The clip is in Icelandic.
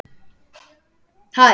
Þurrkar burt æluna.